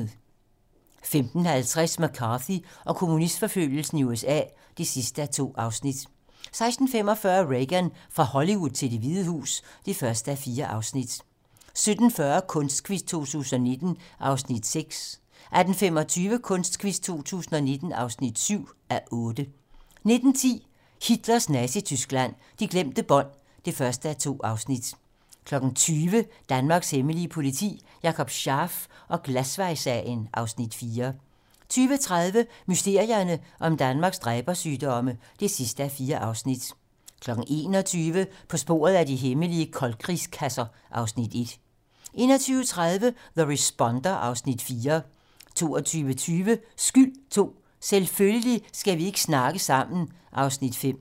15:50: McCarthy og kommunistforfølgelsen i USA (2:2) 16:45: Reagan - fra Hollywood til Det Hvide Hus (1:4) 17:40: Kunstquiz 2019 (6:8) 18:25: Kunstquiz 2019 (7:8) 19:10: Hitlers Nazityskland: De glemte bånd (1:2) 20:00: Danmarks hemmelige politi: Jakob Scharf og Glasvejssagen (Afs. 4) 20:30: Mysterierne om Danmarks dræbersygdomme (4:4) 21:00: På sporet af de hemmelige koldkrigskasser (Afs. 1) 21:30: The Responder (Afs. 4) 22:20: Skyld II - Selvfølgelig skal vi ikke ikke snakke sammen (Afs. 5)